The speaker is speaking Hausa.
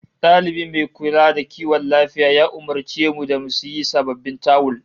Dalibi mai kula da kiwon lafiya ya umurce mu da mu sayi sababbin tawul